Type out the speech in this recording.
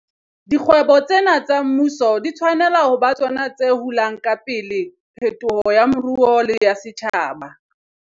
Dikgwebo tsena tsa mmuso di tshwanela ho ba tsona tse hulang ka pele phetolo ya moruo le ya setjhaba.